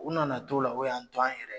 U nana t'o la u y'an to an yɛrɛ ye